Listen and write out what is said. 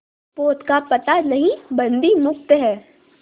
पोत का पता नहीं बंदी मुक्त हैं